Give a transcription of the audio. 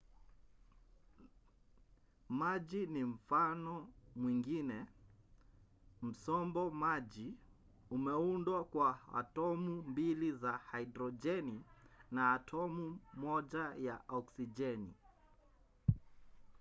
maji ni mfano mwingine. msombo maji umeundwa kwa atomu mbili za hidrojeni na atomu moja ya oksijeni